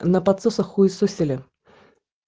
на подсоса хуесосили